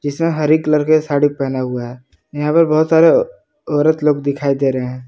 इसमें हरी कलर के साड़ी पहना हुआ है यहां पे बहुत सारे औरत लोग दिखाई दे रहें हैं।